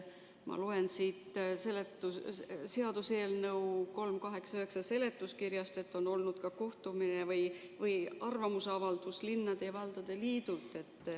Ma loen siit seaduseelnõu 389 seletuskirjast, et on olnud ka kohtumine või arvamusavaldus linnade ja valdade liidult.